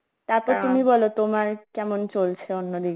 তারপর বল তোমার কেমন চলছে অন্য দিকে